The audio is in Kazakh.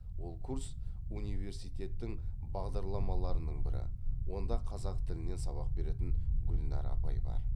ол курс университеттің бағдарламаларының бірі онда қазақ тілінен сабақ беретін гүлнар апай бар